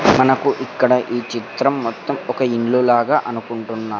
మనకు ఇక్కడ ఈ చిత్రం మొత్తం ఒక ఇల్లు లాగా అనుకుంటున్నా --